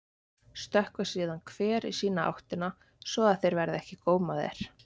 Stökkva síðan hver í sína áttina svo þeir verði ekki gómaðir.